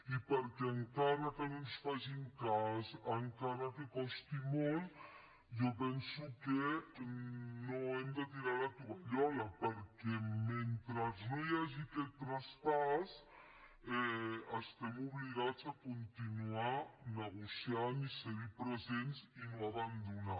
i perquè encara que no ens facin cas encara que costi molt jo penso que no hem de tirar la tovallola perquè mentre no hi hagi aquest traspàs estem obligats a continuar negociant i ser hi presents i no abandonar